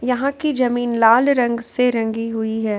यहां की जमीन लाल रंग से रंगी हुई है।